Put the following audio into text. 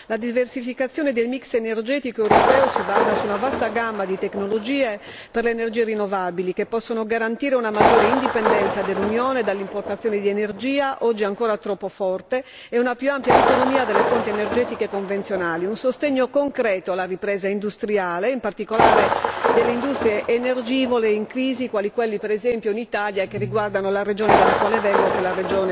La diversificazione del mix energetico europeo si basa su una vasta gamma di tecnologie per le energie rinnovabili, che possono garantire una maggiore indipendenza dell'Unione dall'importazione di energia, oggi ancora troppo forte, e una più ampia autonomia dalle fonti energetiche convenzionali nonché un sostegno concreto alla ripresa industriale, in particolare delle industrie energivore in crisi, quali quelle per esempio in Italia che riguardano la regione dalla quale vengo che è la